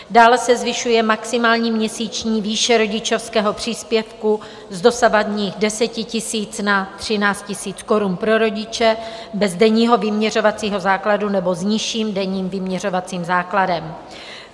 Dále se zvyšuje maximální měsíční výše rodičovského příspěvku z dosavadních 10 000 na 13 000 korun pro rodiče bez denního vyměřovacího základu nebo s nižším denním vyměřovacím základem.